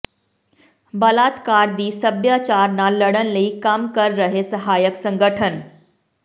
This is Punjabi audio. ਬਲਾਤਕਾਰ ਦੀ ਸਭਿਆਚਾਰ ਨਾਲ ਲੜਨ ਲਈ ਕੰਮ ਕਰ ਰਹੇ ਸਹਾਇਕ ਸੰਗਠਨ